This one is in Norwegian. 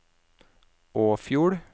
Åfjord